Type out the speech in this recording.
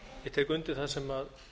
ég tek undir það sem